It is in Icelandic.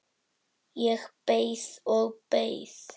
Ég beið og beið.